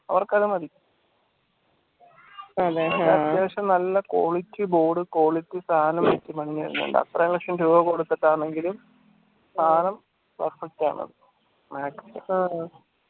ഒറ്റക്ക് അത് മതി അത്യാവശ്യം നല്ല quality board quality സാനം എത്ര ലക്ഷം രൂപ കൊടുത്തിട്ടാണെങ്കിലും സാനം